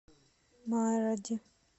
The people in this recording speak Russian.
маради